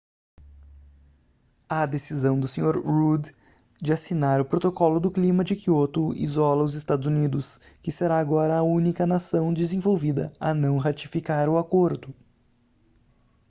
a decisão do senhor rudd de assinar o protocolo do clima de kyoto isola os estados unidos que será agora a única nação desenvolvida a não ratificar o acordo